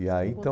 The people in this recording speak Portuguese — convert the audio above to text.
E aí, então...